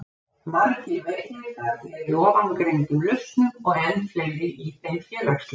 Margir veikleikar eru í ofangreindum lausnum og enn fleiri í þeim félagslegu.